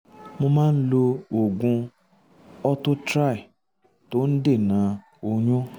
mo máa ń lo oògùn ortho tri tó ń dènà oyún